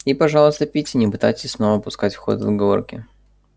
и пожалуйста питти не пытайтесь снова пускать в ход отговорки